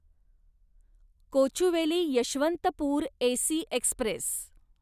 Kochuveli Yesvantpur AC Express